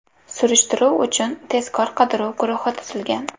Surishtiruv uchun tezkor qidiruv guruhi tuzilgan.